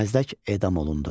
Məzdək edam olundu.